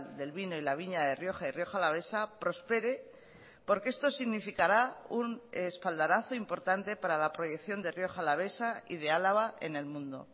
del vino y la viña de rioja y rioja alavesa prospere porque esto significara un espaldarazo importante para la proyección de rioja alavesa y de álava en el mundo